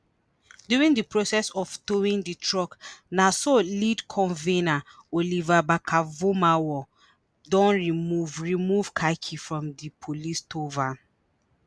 during di process of towing di truck na so lead convener oliver barker-vormawor don remove remove car key from di police tow van